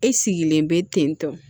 E sigilen bɛ ten tɔ